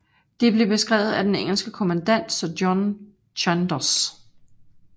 De blev beskrevet af den engelske kommandant sir John Chandos